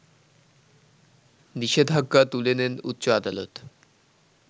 নিষেধাজ্ঞা তুলে নেন উচ্চ আদালত